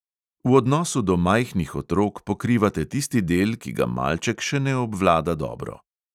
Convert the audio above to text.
V odnosu do majhnih otrok pokrivate tisti del, ki ga malček še ne obvlada dobro.